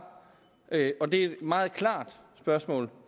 og det er et meget klart spørgsmål